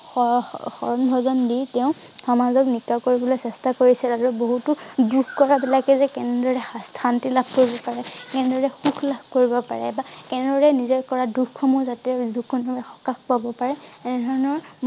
শ~শ~শৰণ ভজন দি তেওঁ সামাজ নিকা কৰিবলৈ চেষ্টা কৰিছিল আৰু বহুতো দুখ কৰা বিলাকে যে কেনেদৰে শান্তি লাভ কৰিব পাৰে কেনেদৰে সুখ লাভ কৰিব পাৰে বা কেনে ধৰণে নিজে কৰা দুখ সমূহ যাতে সকাহ পাব পাৰে এনে ধৰণৰ